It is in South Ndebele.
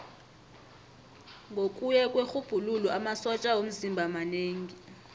ngokuya kwerhubhululo amasotja womzimba manengi